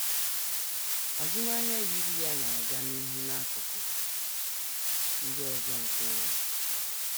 Azụmahịa yiri ya na - aga n’ihu n’akụkụ ndị ọzọ nke ụwa.